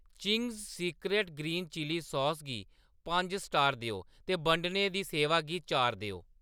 Ching's secret green chilli sauce गी पंज star देओ ते बंडने दी सेवा गी चार देओ।